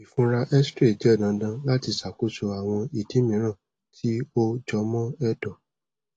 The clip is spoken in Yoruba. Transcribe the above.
ifunra xray jẹ dandan lati ṣakoso awọn idi miiran ti o jọmọ ẹdọ